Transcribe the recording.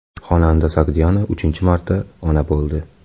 Xonanda Sogdiana uchinchi marta ona bo‘ldi.